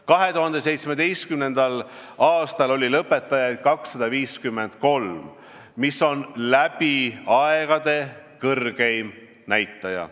2017. aastal oli lõpetajaid 253, mis on läbi aegade kõrgeim näitaja.